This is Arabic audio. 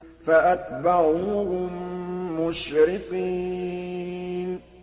فَأَتْبَعُوهُم مُّشْرِقِينَ